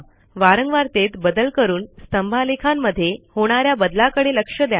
वारंवारतेत बदल करून स्तंभालेखामध्ये होणा या बदलाकडे लक्ष द्या